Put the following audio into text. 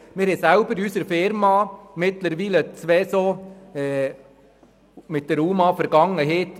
Wir haben selber in unserer Firma mittlerweile zwei Lehrlinge mit UMAVergangenheit.